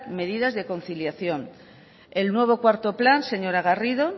medidas de conciliación el nuevo cuarto plan señora garrido